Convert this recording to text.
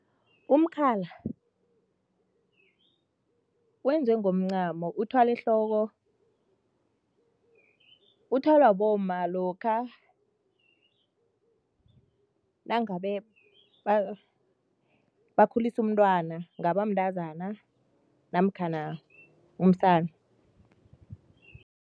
Umkhala wenziwe ngomncamo, uthwalwa ehloko, uthwalwa bomma lokha nangabe bakhulisa umntwana, kungaba mntazana namkhana umsana.